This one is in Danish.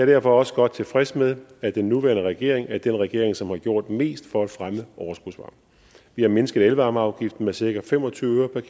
derfor også godt tilfreds med at den nuværende regering er den regering som har gjort mest for at fremme overskudsvarme vi har mindsket elvarmeafgiften med cirka fem og tyve øre per